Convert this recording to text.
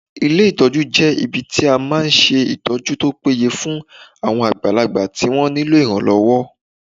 Ilé ìtọ́jú jẹ́ ibi tí máa ń ṣe ìtọ́jú tó péye fún àwọn àgbàlagbà tí wọ́n nílò ìrànlọ́wọ́